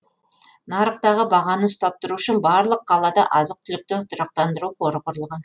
нарықтағы бағаны ұстап тұру үшін барлық қалада азық түлікті тұрақтандыру қоры құрылған